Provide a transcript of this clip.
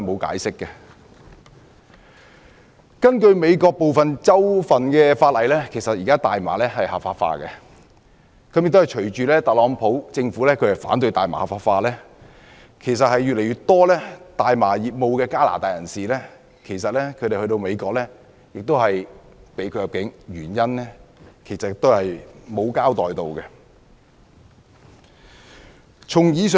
根據美國部分州份的法例，現時大麻是合法化的，亦隨着特朗普政府反對大麻合法化，越來越多從事大麻業務的加拿大人士前往美國時被拒入境，也是沒有交代原因。